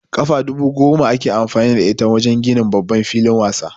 Kafa dubu goma ake amfani da ita wajen ginin babban filin wasa